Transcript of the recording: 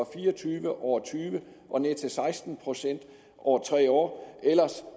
fire og tyve over tyve og ned til seksten procent over tre år ellers